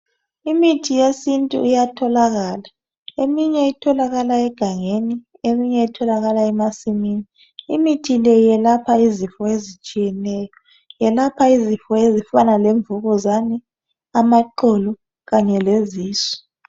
Imithi yesintu iyatholakala. Eminye etholakala egangeni, eminye etholakala emasimini. Imithi le yelapha izifo ezitshiyeneyo. Yelapha izifo ezifana lemvukuzane, amaqolo kanye lezisu.